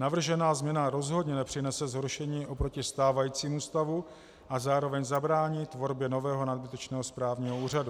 Navržená změna rozhodně nepřinese zhoršení oproti stávajícímu stavu a zároveň zabrání tvorbě nového, nadbytečného správního úřadu.